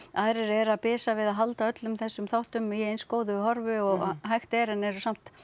aðrir eru að bisa við að halda öllum þessum þáttum í eins góðu horfi og hægt er en eru samt